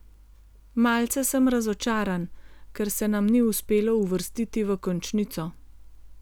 Malce sem razočaran, ker se nam ni uspelo uvrstiti v končnico.